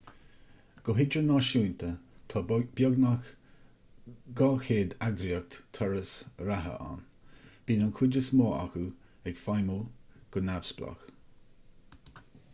go hidirnáisiúnta tá beagnach 200 eagraíocht turas reatha ann bíonn an chuid is mó acu ag feidhmiú go neamhspleách